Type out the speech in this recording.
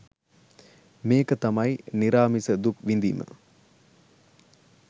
මේක තමයි නිරාමිස දුක් විඳීම